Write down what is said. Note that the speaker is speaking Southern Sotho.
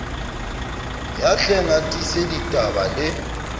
ya hleng a tiiseditaba le